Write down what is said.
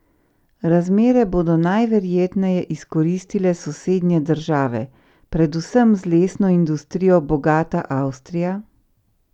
Razmere bodo najverjetneje izkoristile sosednje države, predvsem z lesno industrijo bogata Avstrija?